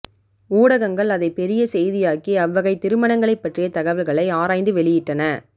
ஊடகங்கள் அதை பெரிய செய்தியாக்கி அவ்வகை திருமணங்களைப்பற்றிய தகவல்களை ஆராய்ந்து வெளியிட்டன